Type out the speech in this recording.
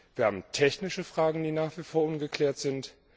wir haben technische Fragen, die nach wie vor ungeklärt sind